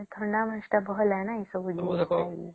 ଥଣ୍ଡା ମାସ ଟା ଭଲ ନାଇଁ ସବୁ ଜିନିଷ ପାଇଁ